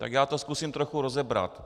Tak já to zkusím trochu rozebrat.